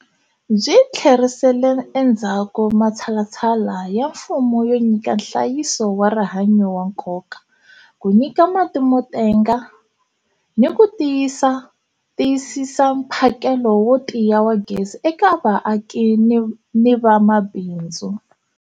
Byi tlherisele endzhaku matshalatshala ya mfumo yo nyika nhlayiso wa rihanyu wa nkoka, ku nyika mati mo tenga, ni ku tiyisisa mphakelo wo tiya wa gezi eka vaaki ni mabindzu.